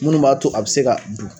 Munnu b'a to a bɛ se ka du?